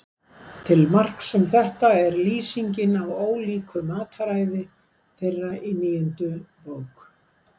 Til marks um þetta er lýsingin á ólíku mataræði þeirra í níundu bók.